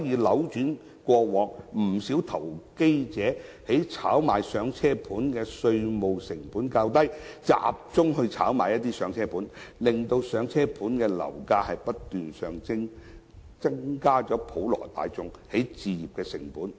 由於過往不少投機者炒賣"上車盤"的稅務成本較低，他們集中炒賣"上車盤"，令"上車盤"的樓價不斷上升，從而增加普羅大眾的置業成本。